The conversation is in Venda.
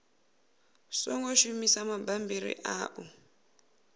songo shumisa mabammbiri a u